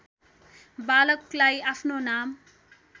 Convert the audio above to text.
बालकलाई आफ्नो नाम